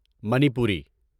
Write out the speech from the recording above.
Manipuri